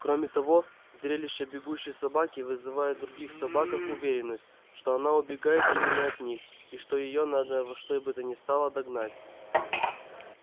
кроме того зрелище бегущей собаки вызывает в других собаках уверенность что она убегает именно от них и что её надо во что бы то ни стало догнать